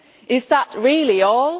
Is that really all?